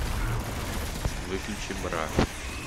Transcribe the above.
выключи бра